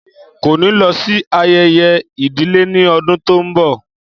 Kò ní lọ sí ayẹyẹ ìdílé ní ọdún tó ń bọ̀